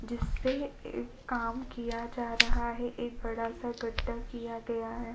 जिससे एक काम किया जा रहा है एक बड़ा सा गद्दा किया गया है।